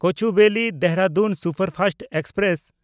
ᱠᱳᱪᱩᱵᱮᱞᱤ–ᱫᱮᱦᱨᱟᱫᱩᱱ superfast express